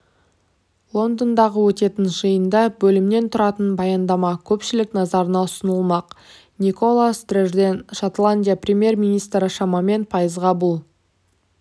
лондондағы өтетін жиында бөлімнен тұратын баяндама көпшілік назарына ұсынылмақ никола стрджен шотландия премьер-министрі шамамен пайызға бұл